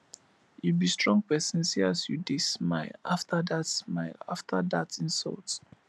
you be strong person see as you dey smile after dat smile after dat insult